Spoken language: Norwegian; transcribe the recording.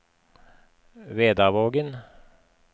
Vedavågen